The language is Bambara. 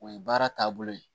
O ye baara taabolo ye